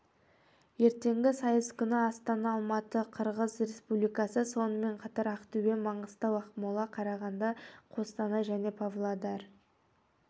ертеңгі сайыс күні астана алматы қырғыз республикасы сонымен қатар ақтөбе маңғыстау ақмола қарағанды қостанай және павлодар